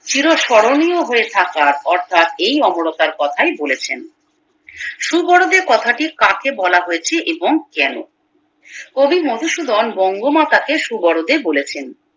চিরস্মরণীয় হয়ে থাকার অর্থাৎ এই অমরত্বের কথাই বলেছেন সুবোরোদে কথাটি কাকে বলা হয়েছে এবং কেন কবি মধুসুধন বঙ্গমাতাকে সুবোরোদে বলেছেন